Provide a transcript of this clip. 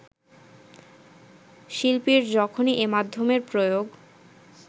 শিল্পীর যখনই যে মাধ্যমের প্রয়োগ